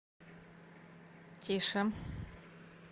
тише